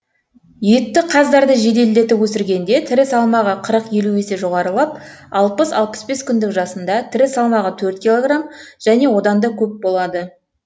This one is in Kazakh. етті қаздарды жеделдетіп өсіргенде тірі салмағы қырық елу есе жоғарылап алпыс алпыс бес күндік жасында тірі салмағы төрт килограмм және одан да көп болады